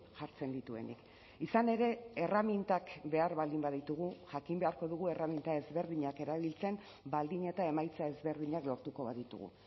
jartzen dituenik izan ere erremintak behar baldin baditugu jakin beharko dugu erreminta ezberdinak erabiltzen baldin eta emaitza ezberdinak lortuko baditugu